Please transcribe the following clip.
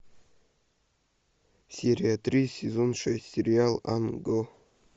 серия три сезон шесть сериал ан го